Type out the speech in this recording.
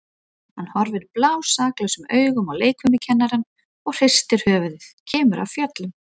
Hann horfir blásaklausum augum á leikfimikennarann og hristir höfuðið, kemur af fjöllum.